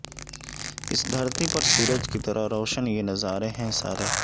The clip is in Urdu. اس دھرتی پر سورج کی طرح روشن یہ نظارے ہیں سارے